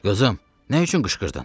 Qızım, nə üçün qışqırdın?